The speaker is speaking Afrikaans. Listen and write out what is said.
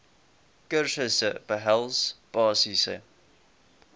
kursusse behels basiese